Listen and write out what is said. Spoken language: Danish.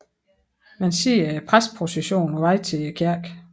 Man ser præsteprocessionen på vej til kirken